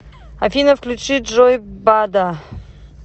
афина включи джой бада